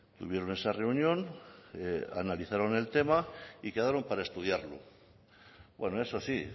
tuvieron esa reunión analizaron el tema y quedaron para estudiarlo bueno eso sí